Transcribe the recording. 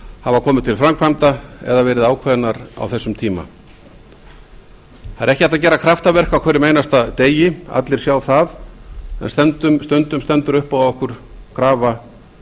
hafa komið til framkvæmda eða verið ákveðnar á þessum tíma það er ekki hægt að gera kraftaverk á hverjum einasta degi allir sjá það en stundum stendur upp á ekki krafa